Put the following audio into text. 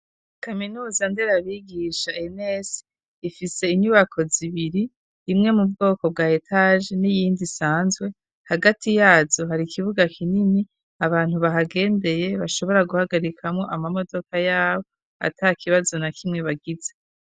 Kaminuza nderabigisha ENS ifise inyubako zibiri imwe mu bwoko bwa etaje n'iyindi isanzwe hagati yazo hari ikibuga kinini abantu bahagendeye bashobora guhagarikamwo amodoka yabo ata kibazo na kimwe bagize.